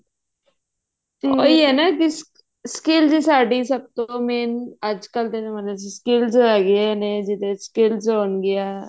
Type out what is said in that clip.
ਉਹੀ ਆ ਨਾ skills ਸਾਡੀ ਸਭ ਤੋਂ main ਅੱਜ ਕਲ ਦੇ ਜਮਾਨੇ ਚ skills ਹੈਗਿਆਂ ਜਾਂ ਨਹੀਂ skills ਹੋਣਗੀਆਂ